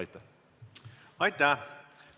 Aitäh!